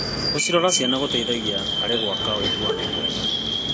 Gũcirora ciana gũteithagia harĩ gwaka ũiguano mwega.